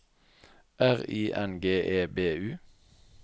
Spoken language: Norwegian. R I N G E B U